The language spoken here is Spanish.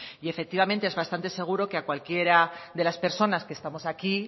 y efectivamente es bastante seguro que a cualquiera de las personas que estamos aquí